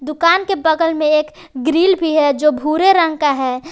दुकान के बगल में एक ग्रिल भी है जो भूरे रंग का है।